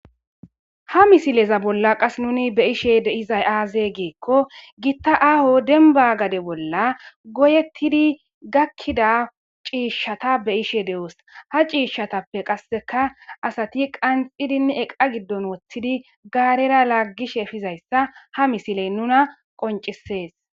Ha misileza bolla qas nuni be ishe deizay aaze geekko gitta aaho demba gade bolla goyettidi gakkida ciishshata be ishe de'os ha ciishshatappe qasseka asati qanxidinni eqa giddon woththidi gaarera laaggish efizayssa ha misiley nuna qoncisees.